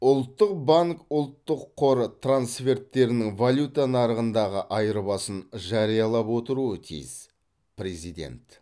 ұлттық банк ұлттық қор трансферттерінің валюта нарығындағы айырбасын жариялап отыруы тиіс президент